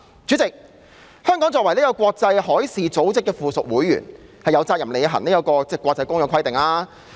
主席，香港作為國際海事組織的附屬會員，有責任履行國際公約規定。